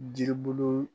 Jiribulu